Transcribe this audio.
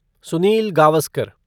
Sunil Gavaskar